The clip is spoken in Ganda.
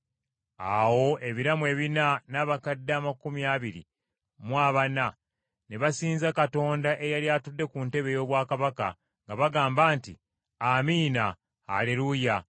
Awo ebiramu ebina n’abakadde amakumi abiri mu abana ne basinza Katonda eyali atudde ku ntebe ey’obwakabaka, nga bagamba nti, “Amiina. Aleruuya.”